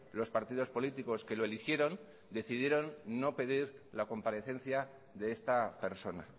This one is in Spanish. los partidos políticos que lo eligieron decidieron no pedir la comparecencia de esta persona